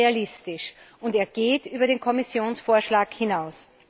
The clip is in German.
Er ist realistisch und er geht über den Kommissionsvorschlag hinaus.